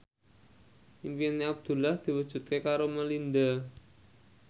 impine Abdullah diwujudke karo Melinda